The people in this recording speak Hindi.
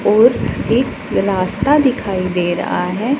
और एक रास्ता दिखाई दे रहा है।